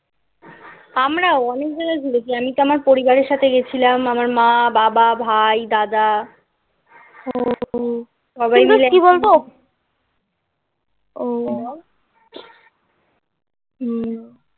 আমরাও অনেক জায়গায় ঘুরেছি. আমি তো আমার পরিবারের সাথে গেছিলাম. আমার মা, বাবা, ভাই, দাদা. ও সবাই কি বল তো ওহ হুম